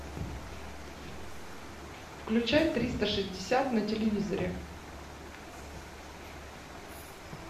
включай триста шестьдесят на телевизоре